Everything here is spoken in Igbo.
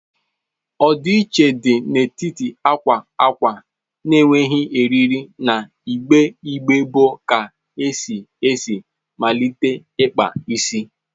Ọdịiche dị n'etiti akwa akwa na-enweghị eriri na igbe igbe bụ ka esi esi malite ikpa isi.